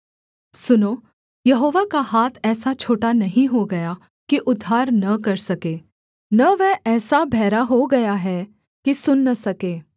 सुनो यहोवा का हाथ ऐसा छोटा नहीं हो गया कि उद्धार न कर सके न वह ऐसा बहरा हो गया है कि सुन न सके